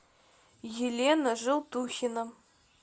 елена желтухина